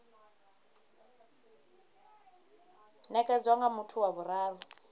nekedzwa nga muthu wa vhuraru